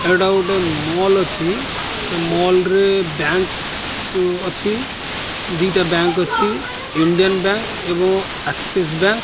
ଏଇଟା ଗୋଟେ ମଲ ଅଛି ସେ ମଲ ରେ ବ୍ୟାଙ୍କ୍ ଅଛି ଦିଇଟା ବ୍ୟାଙ୍କ୍ ଅଛି ଇଣ୍ଡିଆନ ବ୍ୟାଙ୍କ୍ ଓ ଏକ୍ସିସ ବ୍ୟାଙ୍କ୍ ।